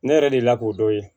Ne yɛrɛ delila k'o dɔn ye